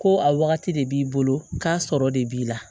Ko a wagati de b'i bolo k'a sɔrɔ de b'i la